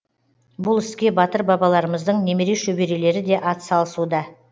бұл іске батыр бабаларымыздың немере шөберелері де атсалысуда